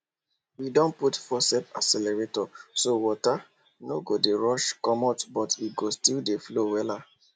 we don put faucet aerator so water no go dey rush comot but e go still dey flow wella